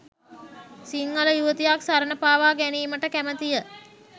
සිංහල යුවතියක් සරණ පාවා ගැනිමට කැමතිය